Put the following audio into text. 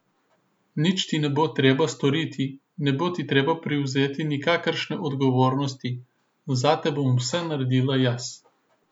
Nič ti ne bo treba storiti, ne bo ti treba prevzeti nikakršne odgovornosti, zate bom vse naredila jaz.